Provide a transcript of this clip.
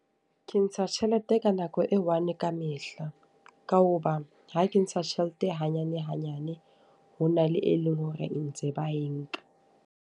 Ke ntsha tjhelete ka nako e one ka mehla. Ka hoba ha ke ntsha tjhelete hanyane hanyane, ho na le e leng hore ntse ba e nka.